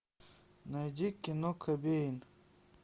найди кино кобейн